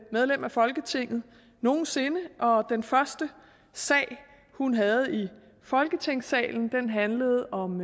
medlem af folketinget nogen sinde og den første sag hun havde i folketingssalen handlede om